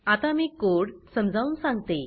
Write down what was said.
आता मी कोड समजावून सांगते